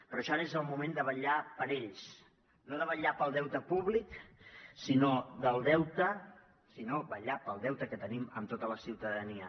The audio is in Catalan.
per això ara és el moment de vetllar per ells no de vetllar pel deute públic sinó de vetllar pel deute que tenim amb tota la ciutadania